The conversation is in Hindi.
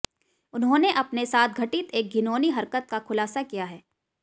उन्होंने अपने साथ घटित एक घिनौनी हरकत का खुलासा किया है